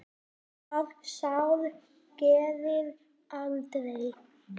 Það sár greri aldrei.